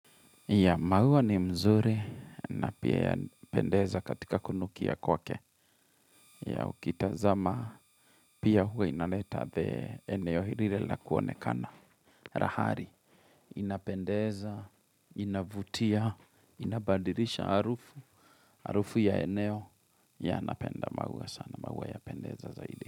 Yea maua ni mzuri na pia yapendeza katika kunukia kwake yea ukitazama pia huwa inaleta the eneo ile lakuonekana. Rahari inapendeza, inavutia, inabadilisha harufu, harufu ya eneo yea napenda maua sana, maua yapendeza zaidi.